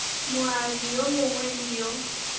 moabi yo mongwe le yo